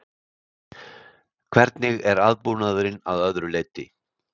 Hvernig er aðbúnaðurinn að öðru leyti?